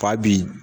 Fa bi